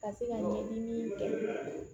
Ka se ka ɲɛɲini kɛ